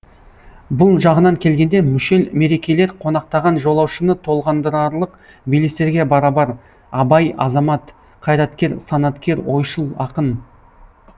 бұл жағынан келгенде мүшел мерекелер қонақтаған жолаушыны толғандырарлық белестерге барабар абай азамат қайраткер санаткер ойшыл ақын